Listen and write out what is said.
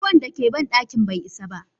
ruwan dake cikin bandakin bai isa ba.